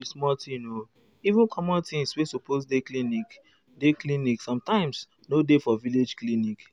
nor be small thing o even common things wey supose dey clinic dey clinic dey sometimes nor dey for village clinic.